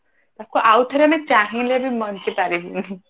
ତାକୁ ଆଉ ଥରେ ଆମେ ଚାହିଁଲେ ବି ବଞ୍ଚି ପାରିବୁନି